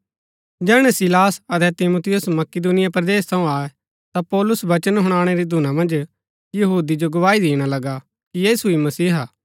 जैहणै सीलास अतै तिमुथियुस मकिदुनिया परदेस थऊँ आये ता पौलुस वचन हुनाणै री धूना मन्ज यहूदी जो गवाही दिणा लगा कि यीशु ही मसीहा हा